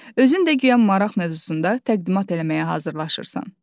Özün də guya maraq mövzusunda təqdimat eləməyə hazırlaşırsan.